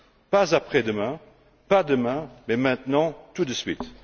Pas après demain, pas demain, mais maintenant, tout de suite.